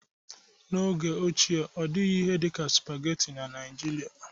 N'oge ochie ọ dịghị ihe dị ka spageti na Nijiria.